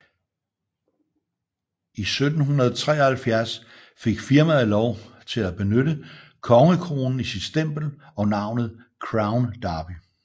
I 1773 fik firmaet lov til at benytte kongekronen i sit stempel og navnet Crown Derby